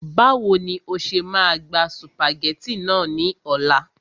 Báwo ni o ṣe máa gba sùpàgẹ́tì náà ní ọ̀la